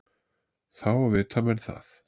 Þá vita menn það.